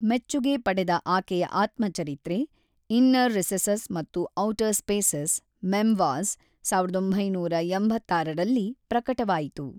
ಮೆಚ್ಚುಗೆ ಪಡೆದ ಆಕೆಯ ಆತ್ಮಚರಿತ್ರೆ, ಇನ್ನರ್ ರಿಸೆಸಸ್ ಮತ್ತು ಔಟರ್ ಸ್ಪೇಸಸ್: ಮೆಮ್ವಾಜ಼್, ಸಾವಿರದ ಒಂಬೈನೂರ ಎಂಬತ್ತಾರರಲ್ಲಿ ಪ್ರಕಟವಾಯಿತು.